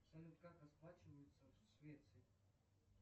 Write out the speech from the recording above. салют как расплачиваются в швеции